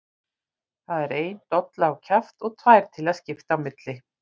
Það er ein dolla á kjaft og tvær til að skipta á milli!